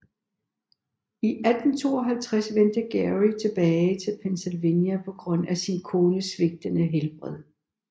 I 1852 vendte Geary tilbage til Pennsylvania på grund af sin kones svigtende helbred